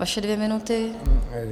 Vaše dvě minuty.